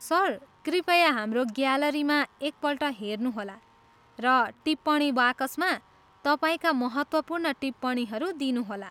Sir, कृपया हाम्रो ग्यालरीमा एकपल्ट हेर्नुहोला र टिप्पणी बाकसमा तपाईँका महत्त्वपूर्ण टिप्पणीहरू दिनुहोला।